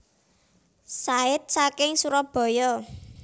Said saking Surabaya